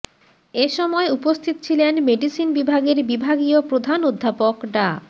এসময় উপস্থিত ছিলেন মেডিসিন বিভাগের বিভাগীয় প্রধান অধ্যাপক ডা